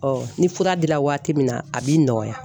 Ɔ ni fura dira waati min na a b'i nɔgɔya.